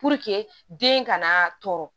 den kana tɔɔrɔ